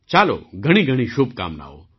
ચાલો ઘણીઘણી શુભકામનાઓ